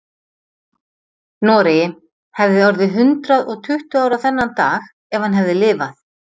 Noregi, hefði orðið hundrað og tuttugu ára þennan dag ef hann hefði lifað.